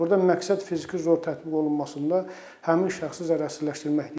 Burda məqsəd fiziki zor tətbiq olunmasında həmin şəxsi zərərsizləşdirməkdir.